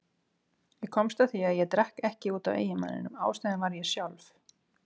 Ég komst að því að ég drakk ekki út af eiginmanninum, ástæðan var ég sjálf.